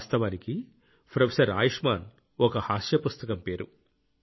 వాస్తవానికి ప్రొఫెసర్ ఆయుష్మాన్ ఒక హాస్య పుస్తకం పేరు